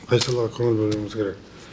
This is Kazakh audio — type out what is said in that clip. қай салаға көңіл бөлуіміз керек